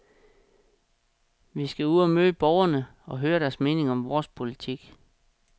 Vi skal ud og møde borgerne og høre deres mening om vores politik.